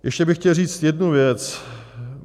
Ještě bych chtěl říct jednu věc.